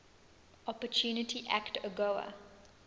opportunity act agoa